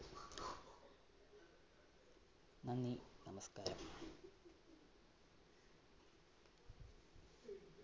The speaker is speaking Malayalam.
നന്ദി.